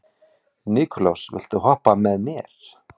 Nikulás, viltu hoppa með mér?